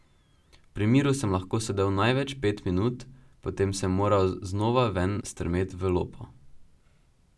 Pri miru sem lahko sedel največ pet minut, potem sem moral znova ven strmet v lopo.